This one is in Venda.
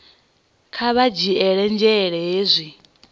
kha vha dzhiele nzhele hezwi